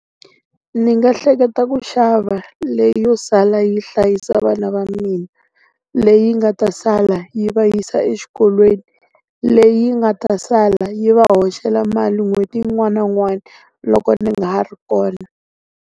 Ndzi nga hleketa ku xava leyo sala yi hlayisa vana va mina. Leyi nga ta sala yi va yisa exikolweni. Leyi nga ta sala yi va hoxela mali n'hweti yin'wana na yin'wana loko ndzi nga ha ri kona.